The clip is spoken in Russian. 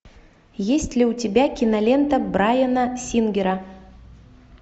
есть ли у тебя кинолента брайана сингера